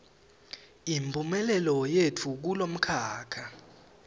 imphumelelo yetfu kulomkhakha